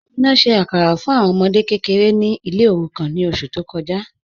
Amina ṣẹ̀ àkàrà fún awọn ọmọdè kẹkẹ̀rẹ̀ ní ilẹ̀ òrùkàn ní oṣù tó kọja